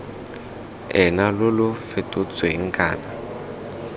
ena lo lo fetotsweng kana